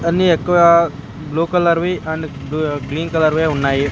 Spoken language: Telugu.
అన్ని ఎక్కువా బ్లూ కలర్ వి అండ్ బు గ్రీన్ కలర్ వే ఉన్నాయి.